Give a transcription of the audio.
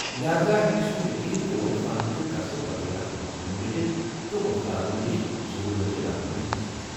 لہاذا ہیٚکہِ سہ یقینی طور فن تہٕ کسب بطور اكھ مضمون رٔٹتھ تہٕ ووستادن نِش ضرورتٕچہِ رہنمٲیی حٲصِل كرِتھ ۔